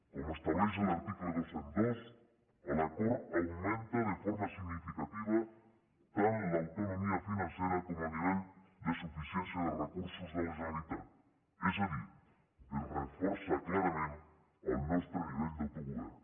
com estableix l’article dos cents i dos l’acord augmenta de forma significativa tant l’autonomia financera com el nivell de suficiència de recursos de la generalitat és a dir es reforça clarament el nostre nivell d’autogovern